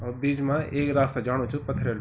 अ बीच मा ऐक रास्ता जाणु च पथरेलू ।